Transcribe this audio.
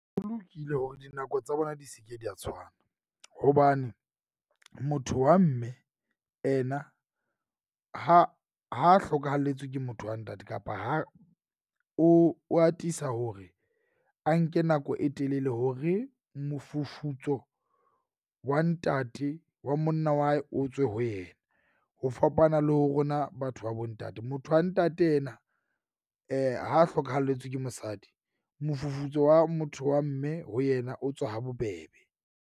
Ho lokile hore dinako tsa bona di se ke di a tshwana. Hobane motho wa mme ena ha ha hlokahelletswe ke motho wa ntate kapa ha o o atisa hore a nke nako e telele hore mofufutso wa ntate wa monna wa hae o tswe ho yena. Ho fapana le ho rona batho ba bo ntate. Motho wa ntate ena ha hlokahalletswe ke mosadi mofufutso wa motho wa mme ho yena o tswa ha bobebe.